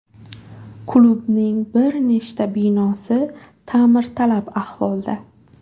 Klubning bir nechta binosi ta’mirtalab ahvolda.